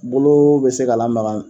Bolo bɛ se k'a lamaga.